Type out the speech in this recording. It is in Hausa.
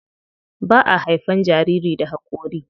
Ba a haifan jariri da hakori.